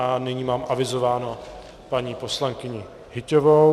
A nyní mám avizovánu paní poslankyni Hyťhovou.